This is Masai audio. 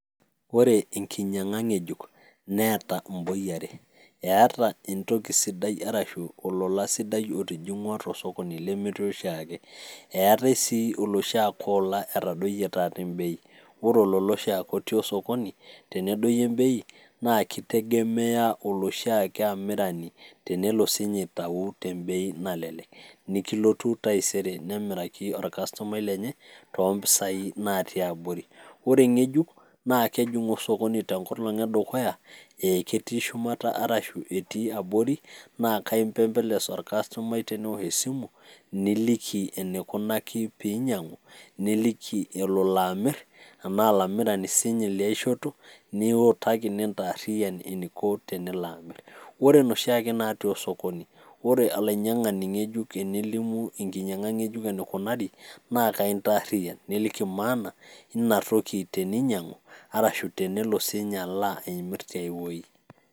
Ore enkinyang'a ng'ejuk, neeta imboi are; eeta entoki sidai arashu olola sidai otijing'ua tosokoni lemetii oshiake. Eetai sii oloshiake ola etadoyie taata e`mbei. Ore olola oshiake otii osokoni tenedoyio e`mbei, naa ekitegemea oloshiake amirani tenelo siinye aitau tembei nalelek, neloru taisere nemiraki orkastomai lenye toompisai naatii abori. Ore eng'ejuk, naa kejing'u osokoni tenkolong' edukuya, aa ketii shumata arashu abori, naa ekaimpepeles orkastomai teneosh esimu, niliki enikunaki pee inyang'u, niliki enelo amir tenaa olamirani sininye liaishoto, niutaki nintaarriyian eniko tenelo amir. Ore inoshiake naatii osokoni, ore olainyang'ani ng'ejuk enelimu enkinyang'a ng'ejuk eneikunari, naa akaintaarriyian, niliki maana eina toki teninyang'u arashu tenelo sininye amir tiai wuei.